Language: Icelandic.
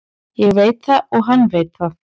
Ég veit það og hann veit það.